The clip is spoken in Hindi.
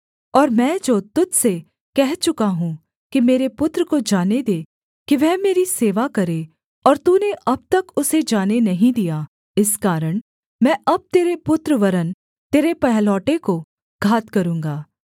और मैं जो तुझ से कह चुका हूँ कि मेरे पुत्र को जाने दे कि वह मेरी सेवा करे और तूने अब तक उसे जाने नहीं दिया इस कारण मैं अब तेरे पुत्र वरन् तेरे पहलौठे को घात करूँगा